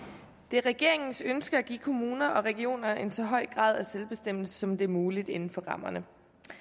er regeringens ønske at give kommuner og regioner en så høj grad af selvbestemmelse som det er muligt inden for rammerne